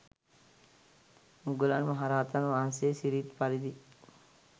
මුගලන් මහ රහතන් වහන්සේ සිරිත් පරිදි